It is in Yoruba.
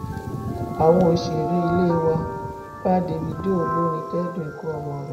àwọn òṣèré ilé wá bá davido olórin kẹdùn ikú ọmọ rẹ